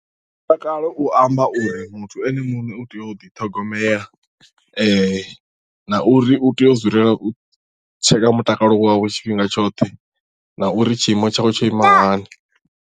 Mutakalo u amba uri muthu ene muṋe u tea u ḓiṱhogomela na uri u tea u dzulela u tsheka mutakalo wawe tshifhinga tshoṱhe na uri tshiimo tshawe tsho ima hani.